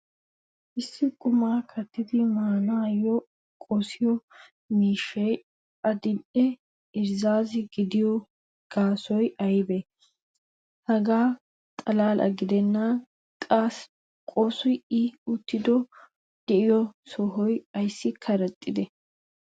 issi qumaa kattidi maanaayoo qossiyo miishshay adil'enne irzziizzo giddido gaasoy aybbisee? hegaa xalaala gidennan qasso i uttidi diyo sohoy ayssi karettee?